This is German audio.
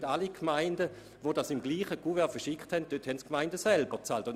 Die Gemeinden, die alles im selben Kuvert verschickten, mussten diese Kosten selber tragen.